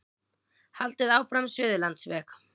Haldið áfram með Suðurlandsveg